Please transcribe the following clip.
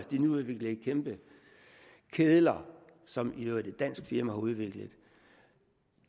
nyudviklede kæmpe kedler som i øvrigt et dansk firma har udviklet